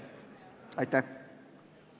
Aitäh!